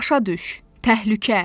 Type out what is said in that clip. Başa düş, təhlükə.